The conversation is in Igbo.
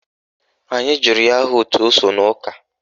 Anyị jụrụ ya aha òtù o so n'ụka